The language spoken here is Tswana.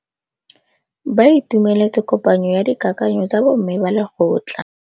Ba itumeletse kôpanyo ya dikakanyô tsa bo mme ba lekgotla.